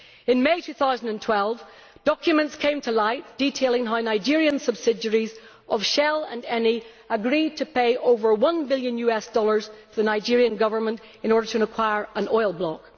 In May 2012 documents came to light detailing how Nigerian subsidiaries of Shell and Eni agreed to pay over one billion dollars to the Nigerian Government to acquire an oil block.